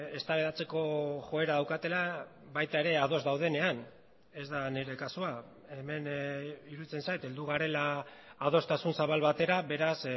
eztabaidatzeko joera daukatela baita ere ados daudenean ez da nire kasua hemen iruditzen zait heldu garela adostasun zabal batera beraz